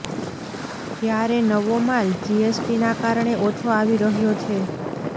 જ્યારે નવો માલ જીએસટીના કારણે ઓછો આવી રહ્યો છે